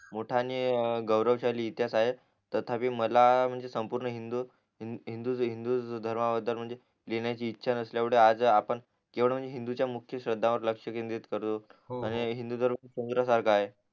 मोठा आणि गैरवशाली इतिहास आहे तथापि मला म्हणजे संपूर्ण हिंदू हिंदू हिंदू धर्माबदल म्हणजे लिहणाची इच्छा नसल्या एवढे आज आपण केवढ म्हणजे हिंदूच्या मुख्य श्रद्धा वर आपण लक्ष केंदीर्त करतो हो आणि हिंदू धर्म समुद्रासारखा आहे